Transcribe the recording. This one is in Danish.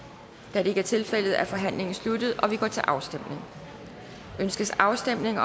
da det ikke er tilfældet er forhandlingen sluttet og vi går til afstemning afstemning